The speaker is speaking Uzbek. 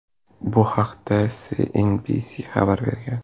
Bu haqda CNBC xabar bergan .